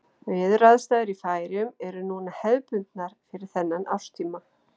Veðuraðstæður í Færeyjum eru núna hefðbundnar fyrir þennan árstíma.